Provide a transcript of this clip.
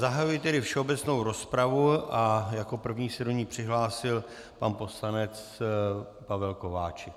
Zahajuji tedy všeobecnou rozpravu a jako první se do ní přihlásil pan poslanec Pavel Kováčik.